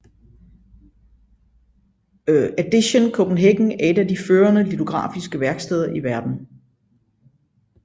Edition Copenhagen er et af de førende litografiske værksteder i verden